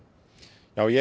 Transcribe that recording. já ég er